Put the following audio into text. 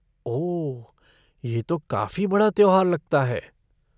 ओह, ये तो काफ़ी बड़ा त्योहार लगता है।